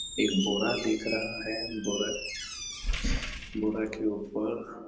एक बोरा देख रहा है बोरक बोरा के ऊपर--